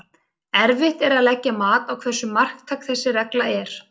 Erfitt er að leggja mat á hversu marktæk þessi regla er.